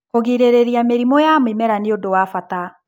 Kũgirĩrĩria mĩrimũ ya mĩmera nĩũndũ wa bata.